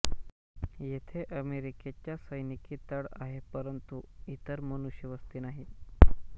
येथे अमेरिकेचा सैनिकी तळ आहे परंतु इतर मनुष्यवस्ती नाही